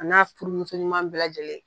A n'a furumuso ɲuman bɛɛ lajɛlen.